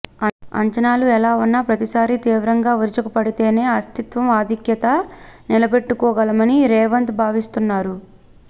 అంచనాలు ఎలా వున్నా ప్రతిసారి తీవ్రంగా విరుచుకుపడితేనే అస్తిత్వం ఆధిక్యత నిలబెట్టుకోగలమని రేవంత్ భావిస్తున్నారు